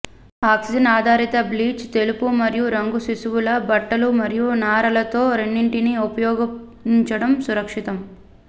oxygen ఆధారిత bleach తెలుపు మరియు రంగు శిశువుల బట్టలు మరియు నారలతో రెండింటినీ ఉపయోగించడం సురక్షితం